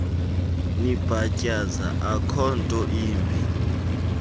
nibhatyaza akhonto imbi